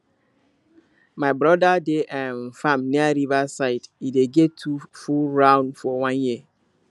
my brother dey um farm near river side e dey get two full round for one year